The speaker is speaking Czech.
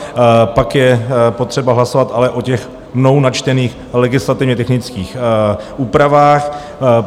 Pak je potřeba hlasovat ale o těch mnou načtených legislativně technických úpravách.